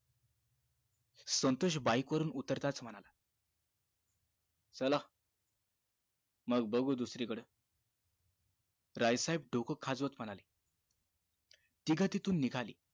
ते भिवंडी ला गेल मग गावाला फिरून आलो आम्हीं तर तिथे विचारायला गेलो vacancy आहे का तुमच्या इथे बोलतात आहे म्हणून मग त्याच्यानंतर